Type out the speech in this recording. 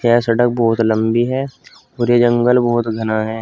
यह सड़क बहोत लंबी है और ये जंगल बहोत घना है।